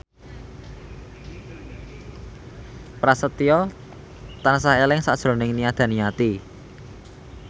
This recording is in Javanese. Prasetyo tansah eling sakjroning Nia Daniati